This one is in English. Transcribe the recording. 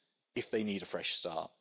if they need a fresh start.